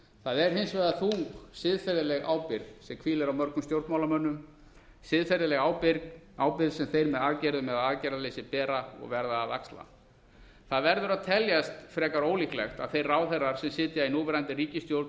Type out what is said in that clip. það er hins vegar sú siðferðileg ábyrgð sem hvílir á mörgum stjórnmálamönnum siðferðileg ábyrgð sem þeir með aðgerðum eða aðgerðaleysi bera og verða að axla það verður að teljast frekar ólíklegt að þeir ráðherrar sem sitja í núverandi ríkisstjórn og